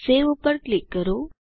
save ઉપર click કરો